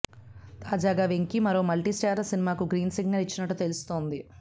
తాజాగా వెంకీ మరో మల్టీస్టారర్ సినిమాకు గ్రీన్ సిగ్నల్ ఇచ్చినట్లు తెలుస్తుంది